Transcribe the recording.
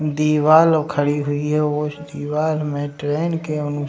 दीवाल खड़ी हुई है उस दीवाल में ट्रेन के अनुसा --